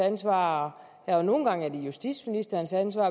ansvar og andre gange justitsministerens ansvar